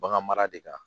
Bagan mara de kan